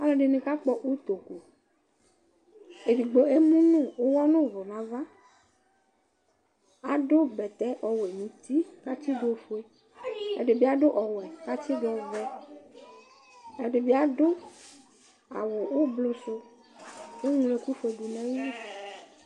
Alʋɛdini kakpɔ ʋtoku edigbo emʋnʋ ʋwɔ nʋ ʋvʋ nʋ ava adʋ bɛtɛ ɔwɛ nʋ uti kʋ atsidʋ ofue ɛdibi adʋ ɔwɛ kʋ atsidʋ ɔvɛ ɛdibi adʋ awʋ ʋblʋsʋ kʋ eŋlo ɛkʋfue dʋnʋ ayili